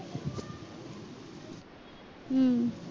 हम्म